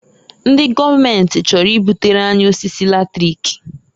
Ndị gọọmenti chọrọ ibutere anyị osisi latrik.